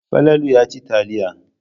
Falalu yana cin taliya.